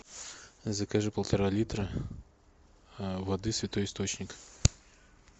закажи полтора литра воды святой источник